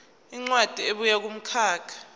incwadi ebuya kumkhakha